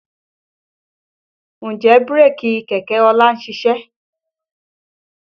Ǹjẹ́ bírèkì kẹ̀kẹ́ ọlá ń ṣiṣẹ́?